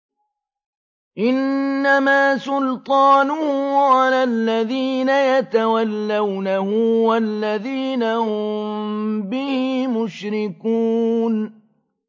إِنَّمَا سُلْطَانُهُ عَلَى الَّذِينَ يَتَوَلَّوْنَهُ وَالَّذِينَ هُم بِهِ مُشْرِكُونَ